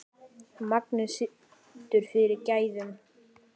Magnið situr fyrir gæðum.